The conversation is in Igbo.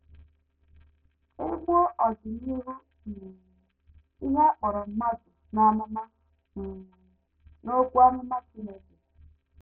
E Buo Ọdịnihu um Ihe A Kpọrọ Mmadụ n’Amụma um n’Okwu Amụma Chineke